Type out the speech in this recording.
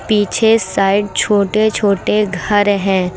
पीछे साइड छोटे छोटे घर है।